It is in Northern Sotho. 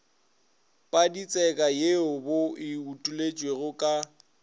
paditseka ye bo utolotšwego ka